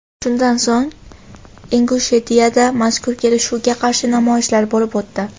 Shundan so‘ng, Ingushetiyada mazkur kelishuvga qarshi namoyishlar bo‘lib o‘tdi.